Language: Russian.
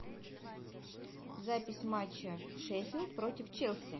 запись матча шеффилд против челси